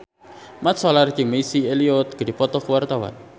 Mat Solar jeung Missy Elliott keur dipoto ku wartawan